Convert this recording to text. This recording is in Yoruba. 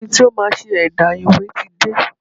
Ẹni tí ó máa ṣe ẹ̀dà ìwé ti dé.